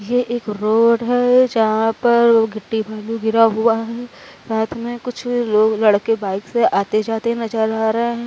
ये एक रोड है जहाँ पर गिट्टी बालू गिरा हुआ है। साथ में कुछ लोग लड़के बाइक से आते जाते नजर आ रहे हैं।